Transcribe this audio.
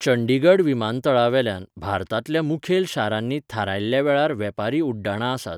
चंडीगड विमानतळावेल्यान भारतांतल्या मुखेल शारांनी थारायल्ल्या वेळार वेपारी उड्डाणां आसात.